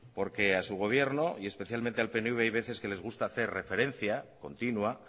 porque a su gobierno y especialmente al pnv hay veces que les gusta hacer referencia continua